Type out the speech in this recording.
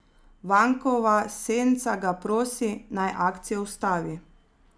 Vankova senca ga prosi, naj akcijo ustavi.